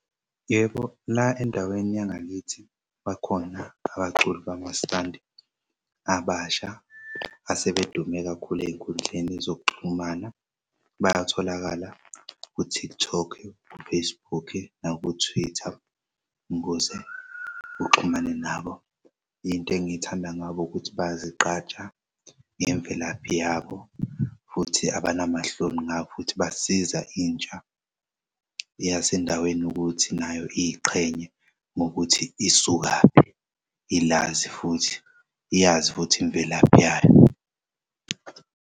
Yebo la endaweni yangakithi bakhona abaculi bamaskandi abasha asebedume kakhulu ey'nkundleni zokuxhumana. Bayatholakala ku-TikTok u-Facebook naku-Twitter ukuze uxhumane nabo. Into engiyithanda ngabo ukuthi bayazigqaja ngemvelaphi yabo futhi abanama hloni ngabo futhi basiza intsha yasendaweni ukuthi nayo iy'qhenye ngokuthi isukaphi, ilazi futhi iyazi futhi imvelaphi yayo.